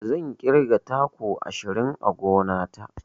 Zan ƙirga taku ashirin a gona ta.